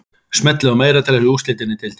Smellið á meira til að sjá úrslitin í deildinni.